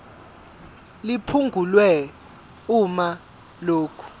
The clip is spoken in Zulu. liphungulwe uma lokhu